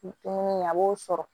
Dumuni kɛ a b'o sɔrɔ